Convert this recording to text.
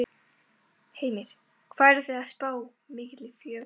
Heimir: Hvað eruð þið að spá mikilli fjölgun?